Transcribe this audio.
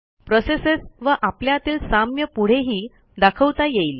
processes व आपल्यातील साम्य पुढेही दाखवता येईल